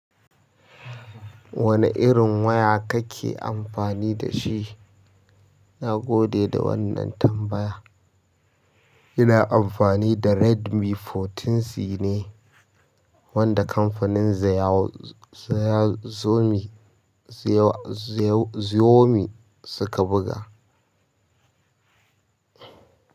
Wane irin waya kake amfani da shi? Na gode da wannan tambaya. Ina amfani da Redmi sha huɗu C ne wanda kamfanin Xiaomi suka buga.